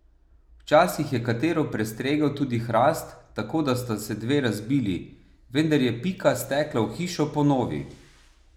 Včasih je katero prestregel tudi hrast, tako da sta se dve razbili, vendar je Pika stekla v hišo po novi.